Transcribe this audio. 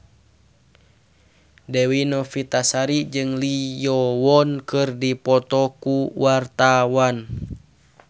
Dewi Novitasari jeung Lee Yo Won keur dipoto ku wartawan